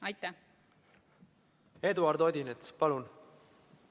Eduard Odinets, palun!